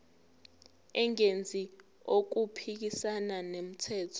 engenzi okuphikisana nomthetho